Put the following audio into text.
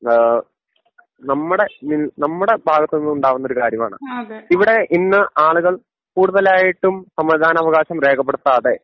ഏഹ് നമ്മുടെ മ് നമ്മുടെ ഭാഗത്തുനിന്നും ഉണ്ടാകുന്ന ഒരു കാര്യമാണ് ഇവിടെ ഇന്ന് ആളുകൾ കൂടുതലായിട്ടും സമ്മതിദാനാവകാശം രേഖപ്പെടുത്താതെ